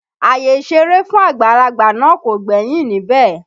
Àyè ìṣeré fún àgbàlagbà náà kò gbẹ́yìn níbẹ̀